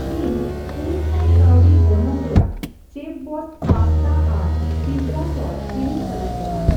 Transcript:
ᱤᱧ ᱯᱩᱱ ᱥᱟᱭ ᱠᱟᱣᱰᱤ ᱜᱚᱱᱚᱝ ᱨᱮᱭᱟᱜ ᱪᱮᱯᱷᱵᱚᱥᱥ ᱯᱟᱥᱛᱟ ᱟᱨ ᱯᱤᱡᱡᱟ ᱥᱚᱥ ᱠᱤᱨᱤᱧ ᱥᱟᱱᱟᱧ ᱠᱟᱱᱟ᱾